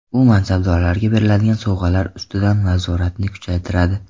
U mansabdorlarga beriladigan sovg‘alar ustidan nazoratni kuchaytiradi.